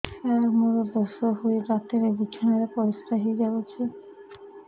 ସାର ମୋର ଦୋଷ ହୋଇ ରାତିରେ ବିଛଣାରେ ପରିସ୍ରା ହୋଇ ଯାଉଛି